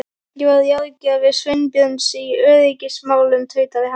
Ég var ráðgjafi Sveinbjörns í öryggismálum- tautaði hann.